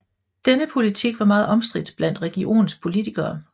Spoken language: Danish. Denne politik var meget omstridt blandt regionens befolkning